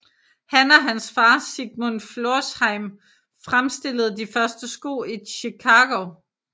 Han og hans far Sigmund Florsheim fremstillede de første sko i Chicago